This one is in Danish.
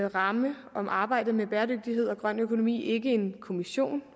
ramme om arbejdet med bæredygtighed og grøn økonomi ikke en kommission